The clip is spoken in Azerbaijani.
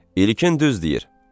İlkin düz deyir.